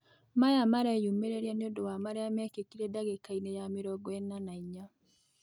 Maya mareyũmĩrĩa nĩũndũ wa marĩa mekĩkire ndagĩka ĩnĩ ya mĩrongo ĩna na inya